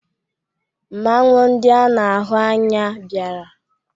Mmanwụ ndị a na-ahụ anya bịara.